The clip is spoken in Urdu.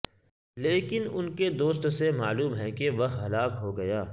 لیکن ان کے دوست سے معلوم ہے کہ وہ ہلاک ہو گیا